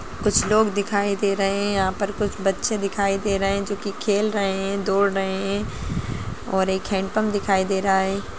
कुछ लोग दिखाई दे रहे है यहां पर कुछ बच्चे दिखाई दे रहे है जो की खेल रहे है दौड़ रहे है और एक हेंडपम्प दिखाई दे रहा है।